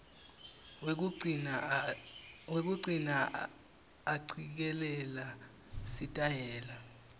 wekugcina acikelela sitayela